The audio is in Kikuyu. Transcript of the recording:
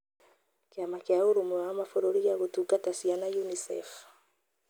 Kĩama kĩa ũrũmwe wa mabururi gĩa gũtungata ciana (UNICEF)